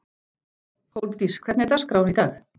Hólmdís, hvernig er dagskráin í dag?